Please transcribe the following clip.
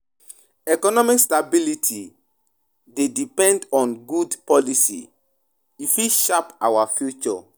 Economic stability dey depend on good policy, we fit sharp our future.